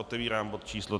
Otevírám bod číslo